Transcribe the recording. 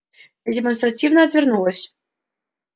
я демонстративно отвернулась